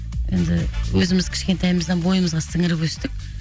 енді өзіміз кішкентайымыздан бойымызға сіңіріп өстік